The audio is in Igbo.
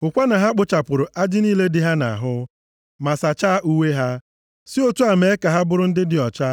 Hụkwa na ha kpụchapụrụ ajị niile dị ha nʼahụ, ma sachaa uwe ha. Si otu a mee ka ha bụrụ ndị dị ọcha.